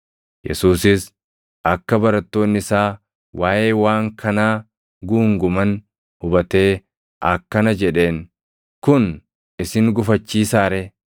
Yesuusis akka barattoonni isaa waaʼee waan kanaa guunguman hubatee akkana jedheen; “Kun isin gufachiisaa ree?